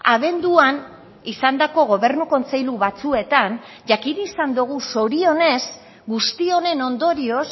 abenduan izandako gobernu kontseilu batzuetan jakin izan dogu zorionez guzti honen ondorioz